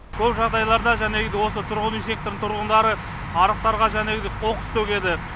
көп жағдайларда жәнегідей осы тұрғын үй секторының тұрғындары арықтарға жәнегідей қоқыс төгеді